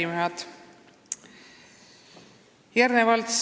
Arupärijad!